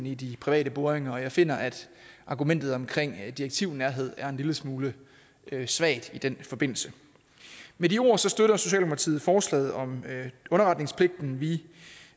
i de private boringer og jeg finder at argumentet om direktivnærhed er en lille smule svagt i den forbindelse med de ord støtter socialdemokratiet forslaget om underretningspligten